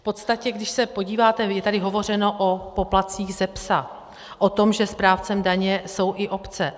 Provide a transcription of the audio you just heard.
V podstatě když se podíváte, je tady hovořeno o poplatcích ze psa, o tom, že správcem daně jsou i obce.